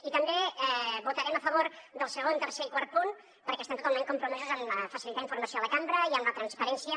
i també votarem a favor del segon tercer i quart punt perquè estem totalment compromesos a facilitar informació a la cambra i amb la transparència